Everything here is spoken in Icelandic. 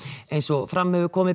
eins og fram hefur komið